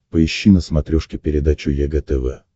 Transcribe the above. поищи на смотрешке передачу егэ тв